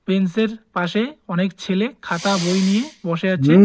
বেনসের পাশে অনেক ছেলে খাতা বই নিয়ে বসে আছে।